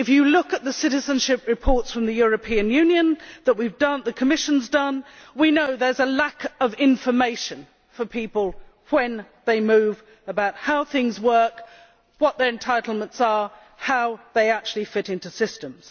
Looking at the citizenship reports from the European Union that the Commission has produced, we know that there is a lack of information for people when they move about how things work, what their entitlements are and how they actually fit into systems.